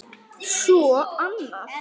Svo annað.